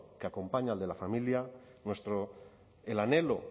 que acompaña al de la familia el anhelo